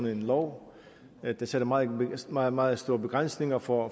en lov der sætter meget meget meget store begrænsninger for